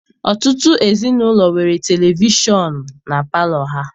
Ọtụtụ ezinaụlọ nwere televishọnụ na palọ ha.